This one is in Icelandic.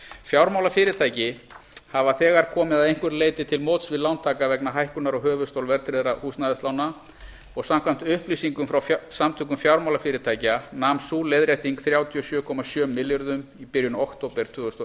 fjármálafyrirtæki hafa þegar komið að einhverju leyti til móts við lántaka vegna hækkunar á höfuðstól verðtryggðra húsnæðislána og samkvæmt upplýsingum frá samtökum fjármálafyrirtækja nam sú leiðrétting um þrjátíu og sjö komma sjö baka í byrjun október tvö þúsund og